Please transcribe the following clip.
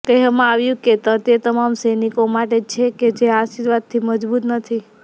કહેવામાં આવ્યું છે તે તમામ સૈનિકો માટે છે કે જે આશીર્વાદથી મજબૂત નથી